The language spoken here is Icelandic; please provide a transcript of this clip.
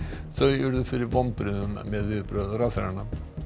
þau urðu fyrir vonbrigðum með ráðherrana